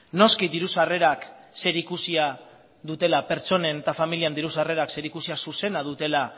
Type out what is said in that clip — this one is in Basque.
noski pertsonen eta familien diru sarrera zerikusia zuzena dutela